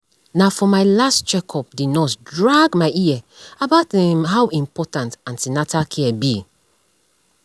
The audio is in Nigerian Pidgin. na for my last check up the nurse drag my ear about um how important an ten atal care be um